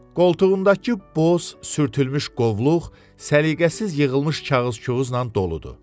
Qoltuğundakı boz sürtülmüş qovluq səliqəsiz yığılmış kağız-küğüzlə doludur.